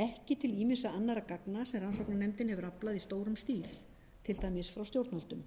ekki til ýmissa annarra gagna sem rannsóknarnefndin hefur aflað í stórum stíl til dæmis frá stjórnvöldum